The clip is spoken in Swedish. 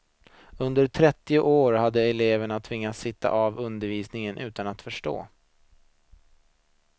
Under trettio år hade elever tvingats sitta av undervisningen utan att förstå.